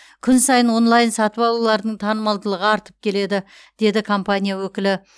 күн сайын онлайн сатып алулардың танымалдығы артып келеді деді компания өкілі